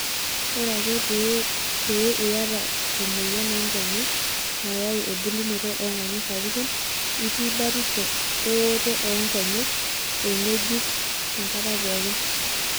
Ore ake paa iyata emoyian oonkonyek nayau embulunoto oongonyo sapuki, itii batisho ewoto oonkenyek engejuk enkata pookin.